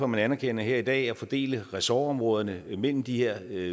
man anerkender her i dag at fordele ressortområderne mellem de her